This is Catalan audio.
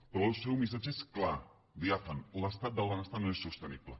però el seu missatge és clar diàfan l’estat del benestar no és sostenible